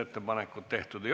Istungi lõpp kell 13.14.